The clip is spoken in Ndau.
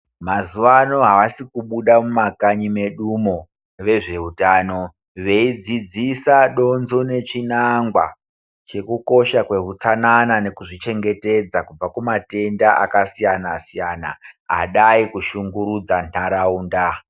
Mazuva ano havasikubuda mumakanyi medumo vezveutano, veidzidzisa, donzo nechinangwa chekukosha kwehutsanana nekuzvichengetedza kubva kumatenda akasiyana-siyana adai kushungurudza ntaraunda.